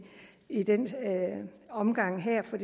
i den omgang her for